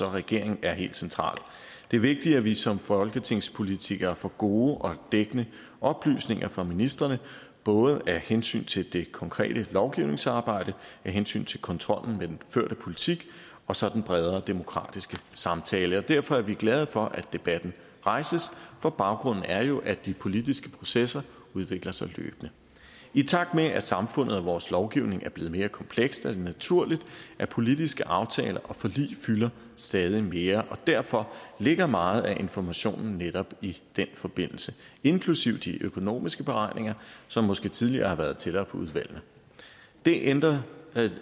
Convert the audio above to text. regeringen er helt central det er vigtigt at vi som folketingspolitikere får gode og dækkende oplysninger fra ministrene både af hensyn til det konkrete lovgivningsarbejde af hensyn til kontrollen med den førte politik og så den bredere demokratiske samtale derfor er vi glade for at debatten rejses for baggrunden er jo at de politiske processer udvikler sig løbende i takt med at samfundet og vores lovgivning er blevet mere kompleks er det naturligt at politiske aftaler og forlig fylder stadig mere og derfor ligger meget at informationen netop i den forbindelse inklusive de økonomiske beregninger som måske tidligere har været tættere på udvalgene det ændrer